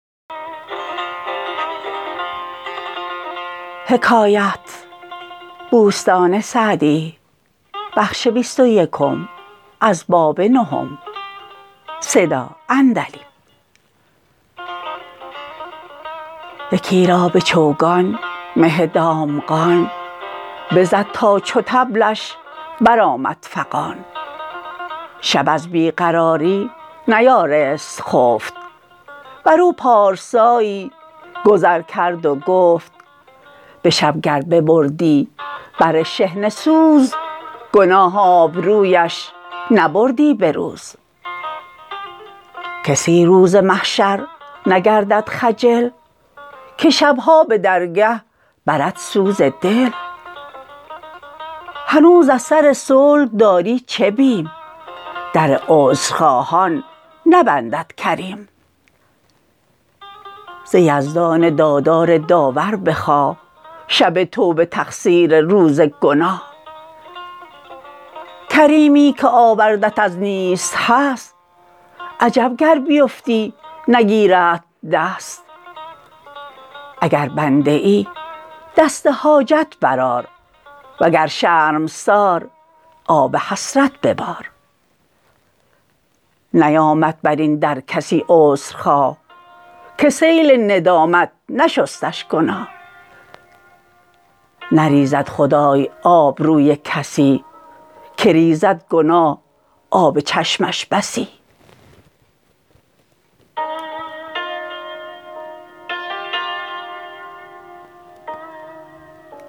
یکی را به چوگان مه دامغان بزد تا چو طبلش بر آمد فغان شب از بی قراری نیارست خفت بر او پارسایی گذر کرد و گفت به شب گر ببردی بر شحنه سوز گناه آبرویش نبردی به روز کسی روز محشر نگردد خجل که شبها به درگه برد سوز دل هنوز ار سر صلح داری چه بیم در عذرخواهان نبندد کریم ز یزدان دادار داور بخواه شب توبه تقصیر روز گناه کریمی که آوردت از نیست هست عجب گر بیفتی نگیردت دست اگر بنده ای دست حاجت بر آر و گر شرمسار آب حسرت ببار نیامد بر این در کسی عذر خواه که سیل ندامت نشستش گناه نریزد خدای آبروی کسی که ریزد گناه آب چشمش بسی